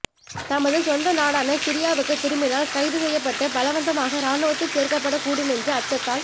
தமது சொந்த நாடான சிரியாவுக்குத் திரும்பினால் கைது செய்யப்பட்டு பலவந்தமாக இராணுவத்தில் சேர்க்கப்படக்கூடுமென்ற அச்சத்தால்